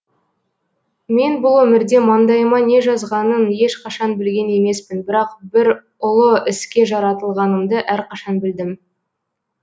мен бұл өмірде маңдайыма не жазғанын ешқашан білген емеспін бірақ бір ұлы іске жаратылғанымды әрқашан білдім